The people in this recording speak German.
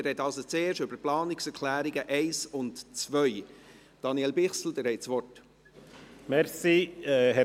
Wir sprechen also zuerst über die Planungserklärungen 1 und 2. Daniel Bichsel, Sie haben das Wort.